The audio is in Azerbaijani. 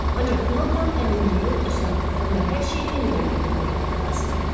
Ancaq buna tam əminlik yoxdursa, onda hər şeyi yenidən götür-qoy etmək lazımdır.